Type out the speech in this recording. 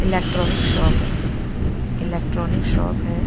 Electronic shop हैइलेक्ट्रॉनिक shop है।